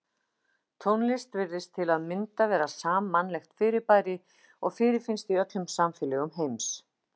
Tónlist virðist til að mynda vera sammannlegt fyrirbæri og fyrirfinnst í öllum samfélögum heims.